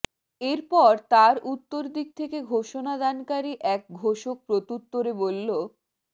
এরপর তার উত্তর দিক থেকে ঘোষণা দানকারী এক ঘোষক প্রত্যুত্তরে বললঃ